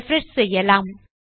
refresh செய்யலாம்